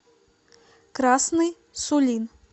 красный сулин